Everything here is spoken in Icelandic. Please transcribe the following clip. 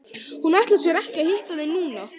Hún ætlar sér ekki að hitta þig núna.